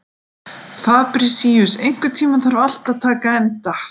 Fabrisíus, einhvern tímann þarf allt að taka enda.